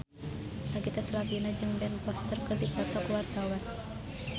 Nagita Slavina jeung Ben Foster keur dipoto ku wartawan